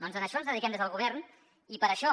doncs a això ens dediquem des del govern i per això